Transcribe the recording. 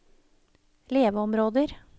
leveområder